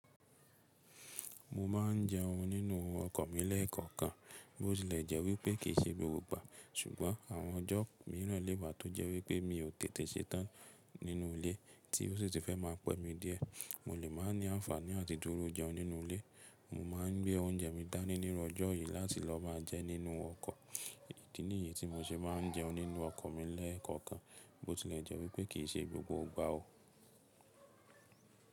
Mo má ń jẹ oun nínú ọkọ̀ mi lẹ́kankan bótilẹ̀jẹ́ wípé kìí ṣe gbogbo ìgbà ṣùgbọ́n àwọn ọjọ́ mìràn lẹ́wà tó jẹ́ wípé mi ò tètè ṣetán nínú ilé tí ó sì fẹ́ má pè mí dí ẹ̀. Mo lè má ní ànfàní àti dúró jẹ oun nínú ilé. Mo má ń gbé oúnjẹ mi dání nínú ọjọ́ yì láti lọ má jẹ nínú ọkọ̀. Ìdí nìyẹ tí mo ṣe má ń jẹ oun nínú ọkọ̀ mi lẹ́kankan bótilẹ̀jẹ́ wípé kìí ṣe gbogbo ìgbà o.